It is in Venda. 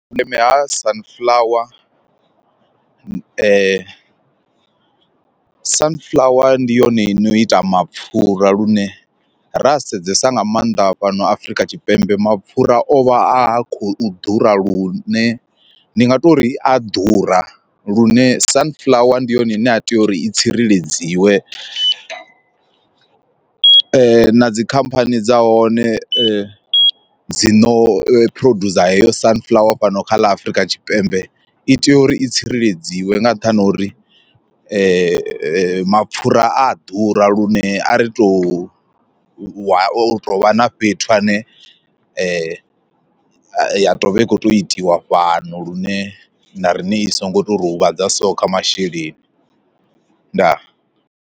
Vhundeme ha sunflower sunflower ndi yone ino ita mapfura lune ra sedzesa nga maanḓa fhano Afrika Tshipembe mapfura o vha a khou ḓura lune ndi nga tori a ḓura lune sunflower ndi yone ine a tea uri i tsireledziwa, na dzi khamphani dza hone dzi no producer heyo sunflower fhano kha ḽa Afrika Tshipembe i tea uri i tsireledziwa nga nṱhani ha uri mapfhura a ḓura lune a ri to u tou vha na fhethu hune ya to vha i khou tou itiwa fhano lune na riṋe i so ngo to ri huvhadza so kha masheleni ndaa.